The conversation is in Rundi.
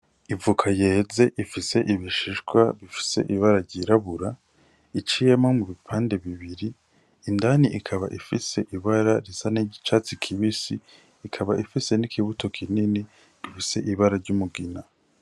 Ivoka yeze ifise ibishishwa bifise ibara ry'irabura, iciyemwo mu bipande bibiri indani ikaba ifise ibara risa n'iryicatsi kibisi ikaba ifise n'ikibuto kinini.